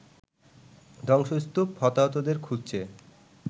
ধ্বংসস্তূপ হতাহতদের খুঁজছে